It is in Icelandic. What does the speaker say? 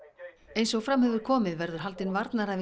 eins og fram hefur komið verður haldin